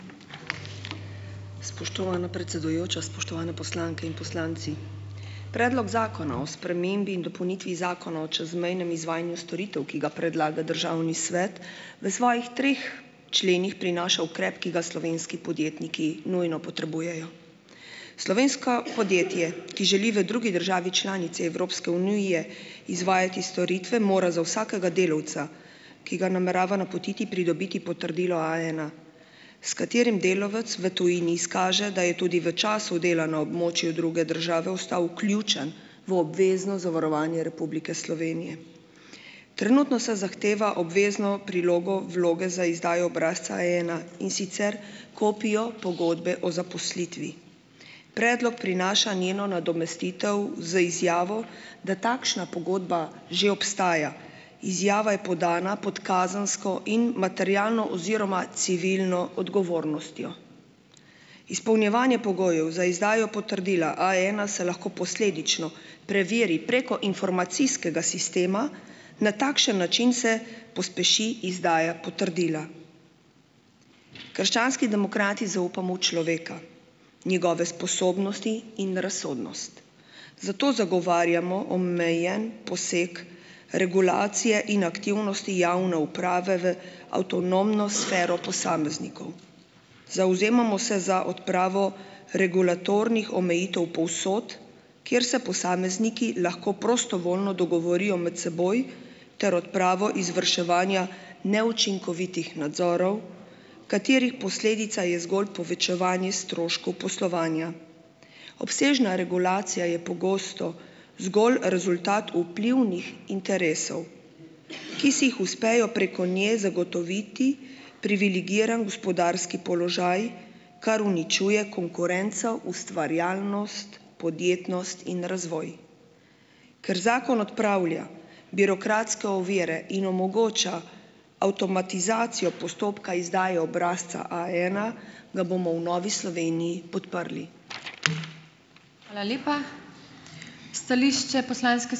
Spoštovana predsedujoča, spoštovane poslanke in poslanci! Predlog zakona o spremembi in dopolnitvi Zakona o čezmejnem izvajanju storitev, ki ga predlaga državni svet, v svojih treh členih prinaša ukrep, ki ga slovenski podjetniki nujno potrebujejo. Slovensko podjetje , ki želi v drugi državi članici Evropske unije izvajati storitve, mora za vsakega delavca, ki ga namerava napotiti, pridobiti potrdilo A ena, s katerim delavec v tujini izkaže, da je tudi v času dela na območju druge države ostal vključen v obvezno zavarovanje Republike Slovenije. Trenutno se zahteva obvezno prilogo vloge za izdajo obrazca A ena, in sicer kopijo pogodbe o zaposlitvi. Predlog prinaša njeno nadomestitev z izjavo, da takšna pogodba že obstaja. Izjava je podana pod kazensko in materialno oziroma civilno odgovornostjo. Izpolnjevanje pogojev za izdajo potrdila A ena se lahko posledično preveri preko informacijskega sistema, na takšen način se pospeši izdaja potrdila. Krščanski demokrati zaupamo v človeka, njegove sposobnosti in razsodnost. Zato zagovarjamo omejen poseg regulacije in aktivnosti javne uprave v avtonomno sfero posameznikov . Zavzemamo se za odpravo regulatornih omejitev povsod, kjer se posamezniki lahko prostovoljno dogovorijo med seboj, ter odpravo izvrševanja neučinkovitih nadzorov, katerih posledica je zgolj povečevanje stroškov poslovanja. Obsežna regulacija je pogosto zgolj rezultat vplivnih interesov, ki vseh uspejo preko nje zagotoviti privilegiran gospodarski položaj, kar uničuje konkurenco, ustvarjalnost, podjetnost in razvoj. Ker zakon odpravlja birokratske ovire in omogoča avtomatizacijo postopka izdaje obrazca A ena, ga bomo v Novi Sloveniji podprli.